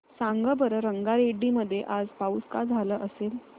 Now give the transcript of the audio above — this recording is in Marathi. सांगा बरं रंगारेड्डी मध्ये आज पाऊस का झाला असेल